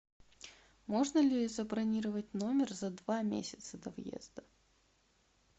можно ли забронировать номер за два месяца до въезда